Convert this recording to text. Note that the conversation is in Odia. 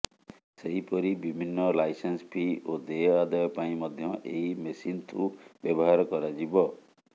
ସେହିପରି ବିଭିନ୍ନ ଲାଇସେନ୍ସ ଫି ଓ ଦେୟ ଆଦାୟ ପାଇଁ ମଧ୍ୟ ଏହି ମେସିନ୍କୁ ବ୍ୟବହାର କରାଯିବ